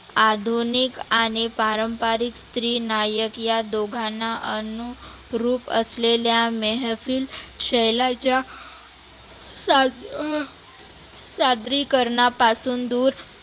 आधुनीक आणि पारंपारीक स्त्री नायक या दोघांना अनुरुप असलेल्या मेहफील शैलाच्या सा सादरीकरणा पासून दुर